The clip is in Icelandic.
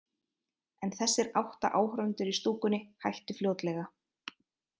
En þessir átta áhorfendur í stúkunni hættu fljótlega.